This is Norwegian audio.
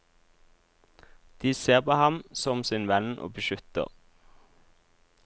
De ser på ham som sin venn og beskytter.